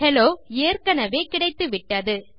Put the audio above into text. hello ஏற்கெனெவே கிடைத்துவிட்டது